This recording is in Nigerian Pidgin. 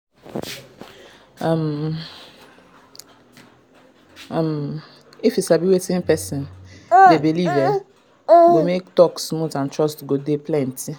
if you sabi wetin person dey believe e go make talk smooth and trust go dey plenty